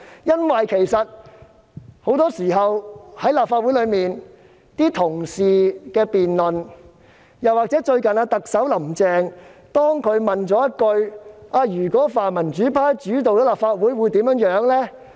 因為很多時候，在立法會的辯論中，同事亦會談及此事，而最近特首"林鄭"亦問了一句："如果由泛民主派主導立法會，會怎樣呢？